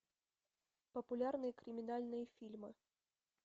популярные криминальные фильмы